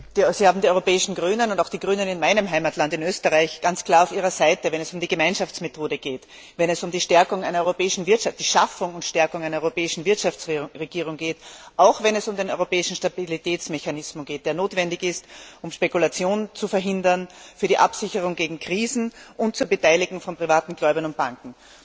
Sie haben die Europäischen Grünen und auch die Grünen in meinem Heimatland in Österreich ganz klar auf Ihrer Seite, wenn es um die Gemeinschaftsmethode geht, wenn es um die Schaffung und Stärkung einer europäischen Wirtschaftsregierung geht, auch wenn es um den europäischen Stabilitätsmechanismus geht, der notwendig ist, um Spekulationen zu verhindern, für die Absicherung gegen Krisen und zur Beteiligung von privaten Gläubigern und Banken.